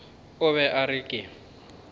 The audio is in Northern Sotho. o be a re ke